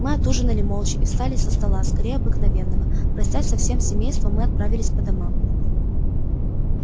мы отужинали молча и встали со стола скорее обыкновенного простясь со всем семейством мы отправились по домам